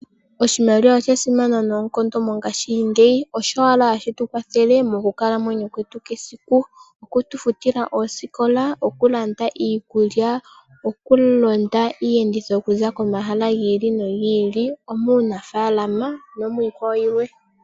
Oshimaliwa oshasimana noonkondo mongashingeyi osho owala hashi tukwathele monkalamwenyo yetu yesiku okutufutila oosikola, okulanda iikulya, okulonda iiyenditho okuza komahala gili nogi ili, omunafaalama nomwiikwawo yilwe.